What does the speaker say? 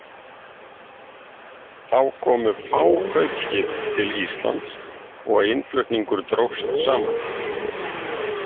Þá komu fá kaupskip til Íslands og innflutningur dróst saman.